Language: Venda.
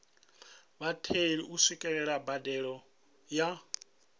vhatheli u swikelela mbadelo ya